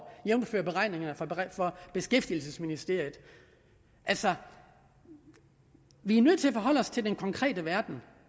jævnfør beregningerne fra beskæftigelsesministeriet altså vi er nødt til at forholde os til den konkrete verden